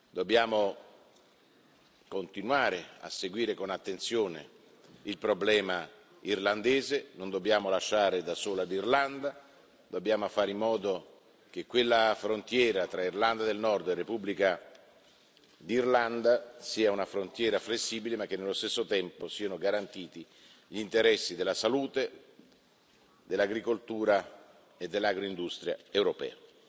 Dobbiamo continuare a seguire con attenzione il problema irlandese, non dobbiamo lasciare da sola l'Irlanda, dobbiamo fare in modo che la frontiera tra Irlanda del Nord e Repubblica d'Irlanda sia una frontiera flessibile, ma che nello stesso tempo siano garantiti gli interessi della salute, dell'agricoltura e dell'agroindustria europea.